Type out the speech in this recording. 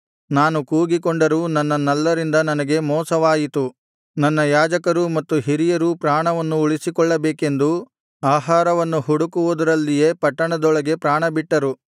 ನಾನು ಕೂಗಿಕೊಂಡರೂ ನನ್ನ ನಲ್ಲರಿಂದ ನನಗೆ ಮೋಸವಾಯಿತು ನನ್ನ ಯಾಜಕರೂ ಮತ್ತು ಹಿರಿಯರೂ ಪ್ರಾಣವನ್ನು ಉಳಿಸಿಕೊಳ್ಳಬೇಕೆಂದು ಆಹಾರವನ್ನು ಹುಡುಕುವುದರಲ್ಲಿಯೇ ಪಟ್ಟಣದೊಳಗೆ ಪ್ರಾಣಬಿಟ್ಟರು